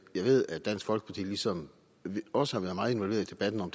ved at dansk folkeparti ligesom os har været meget involveret i debatten om